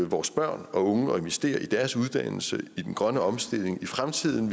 vores børn og unge at investere i deres uddannelse i den grønne omstilling i fremtiden